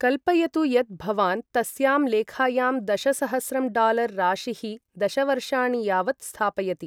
कल्पयतु यत् भवान् तस्यां लेखायां दशसहस्रं डॉलर् राशिः दश वर्षाणि यावत् स्थापयति।